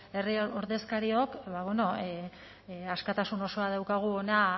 herri ordezkariok ba bueno askatasun osoa daukagu hona